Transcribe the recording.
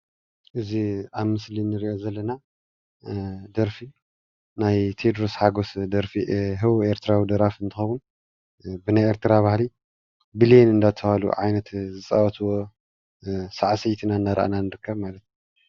እዚ ኣብ ምስሊ እንሪኦ ዘለና ደርፊ ናይ ቴድሮስ ሓጎስ ደርፊ ህቡብ ኤርትራዊ ደራፊ እንትከውን ብናይ ኤርትራ ባህሊ ቢሌን እንዳተባሃለ ዓይነት ዝፃወትዎ ሳዕሲዒት እናረአና ንርካብ ማለት እዩ፡፡